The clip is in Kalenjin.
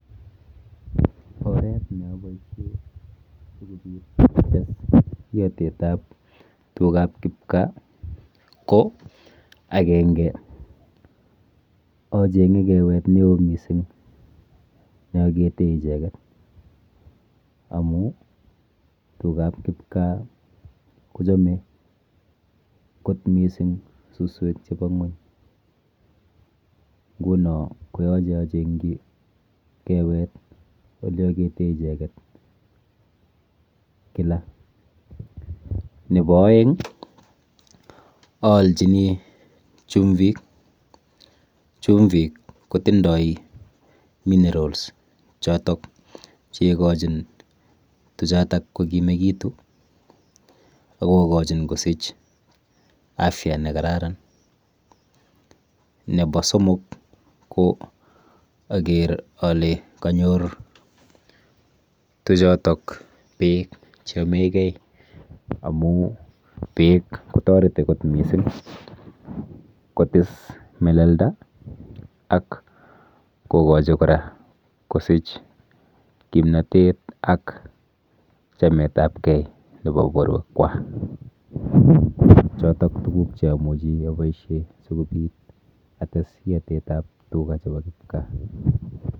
Oret neaboishe sikobit ates iatetap tugap kipkaa ko akenge acheng'e kewet neo mising neakete icheket amu tugap kipkaa kochome kot mising suswek chepo ng'uny nguno koyoche acheng'chi kewet oleakete icheket kila. Nepo oeng aalchini chumvik, chumvik kotindoi minerals chotok cheikochin tuchotok kokimekitu akokochin kosich afya nekararan. Nepo somok ko aker ale kanyor tuchotok beek cheyomegei amu beek kotoreti kot mising kotis melelda ak kokochi kora kosich kimnotet ak chametapkei nepo borwekwa. Chotok tuguk cheamuchi aboishe sikobit ates iotetap tuka chepo kipkaa.